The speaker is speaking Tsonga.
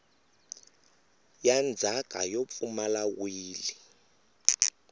ya ndzhaka yo pfumala wili